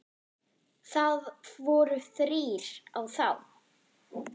Það voru þrír á þá?